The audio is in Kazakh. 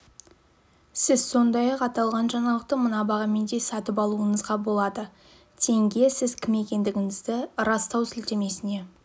сіз сондай-ақ аталған жаңалықты мына бағамен де сатып алуыңызға болады тенге сіз кім екендігіңізді растау сілтемесіне